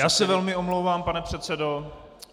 Já se velmi omlouvám, pane předsedo.